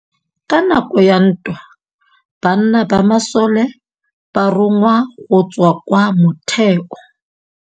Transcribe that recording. Ka nakô ya dintwa banna ba masole ba rongwa go tswa kwa mothêô.